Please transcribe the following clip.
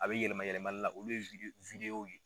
A bi yɛlɛma yɛlɛmali la. Olu ye VIDEO ye.